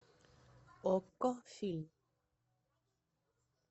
окко фильм